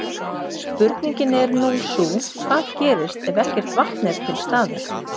Spurningin er nú sú, hvað gerist ef ekkert vatn er til staðar?